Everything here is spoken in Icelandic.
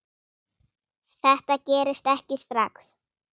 Þetta gerist ekki strax.